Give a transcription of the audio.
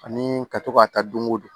Ani ka to ka taa don o don